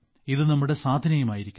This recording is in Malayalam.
ഇതു നമ്മുടെ സാധനയും ആയിരിക്കണം